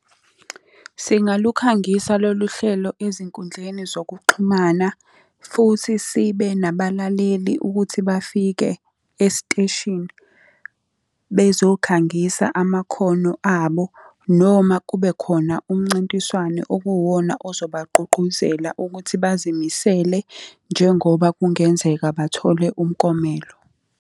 Singalukhangisa lolu hlelo ezinkundleni zokuxhumana, futhi sibe nabalaleli ukuthi bafike esiteshini, bezokhangisa amakhono abo, noma kubekhona umncintiswano okuwona ozobagqugquzela ukuthi bazimisele njengoba kungenzeka bathole umklomelo.